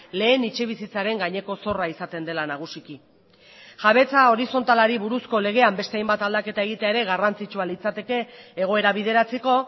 lehen etxebizitzaren gaineko zorra izaten dela nagusiki jabetza horizontalari buruzko legean beste hainbat aldaketa egitea ere garrantzitsua litzateke egoera bideratzeko